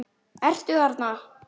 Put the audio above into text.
Ertu þarna?